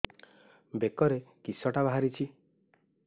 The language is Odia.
ବେକରେ କିଶଟା ବାହାରିଛି